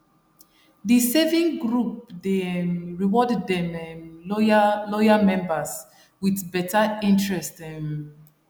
the saving group dey um reward dem um loyal loyal members with better interest um